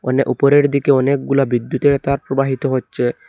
মানে ওপরের দিকে অনেকগুলা বিদ্যুতের তার প্রবাহিত হচ্ছে।